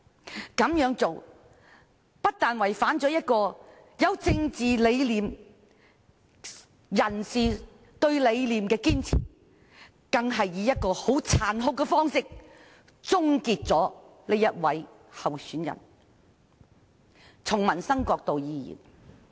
這樣做不但有違政界人士對理念的堅持，更以殘酷的方式終結了他們原先支持的候選人。